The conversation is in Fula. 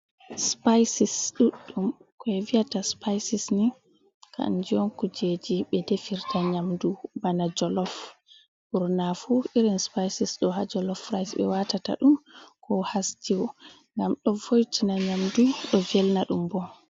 Spices Ɗuɗɗum: Koɓe viyata spices ni kanjum on kujeji ɓe defirta nyamdu. Bana jolof ɓurna fu irin spices ɗo ha jolof rice ɓe watata ɗum ko ha stew ngam ɗo vo'itina nyamdu ɗo velna ɗum bo.